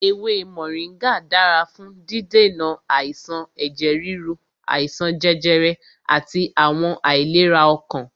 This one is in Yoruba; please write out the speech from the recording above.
Ewé Mọ̀ríngà dára fún dídènà àìsàn ẹ̀jẹ̀ ríru, àìsàn jẹjẹrẹ àti àwọn àìlera ọkàn.